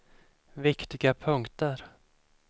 viktiga punkter